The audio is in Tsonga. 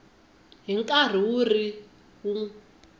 hi nkarhi wu ri wun